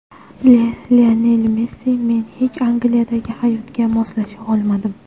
Lionel Messi Men hech Angliyadagi hayotga moslasha olmadim.